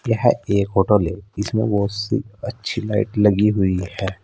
यह एक होटल है इसमें बहुत सी अच्छी लाइट लगी हुई है।